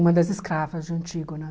Uma das escravas de Antígona.